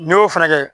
N'i y'o fana kɛ